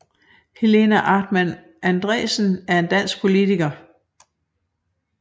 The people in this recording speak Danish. Helena Artmann Andresen er en dansk politiker